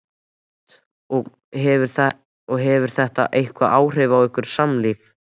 Hödd: Og hefur þetta eitthvað áhrif á ykkar samlíf?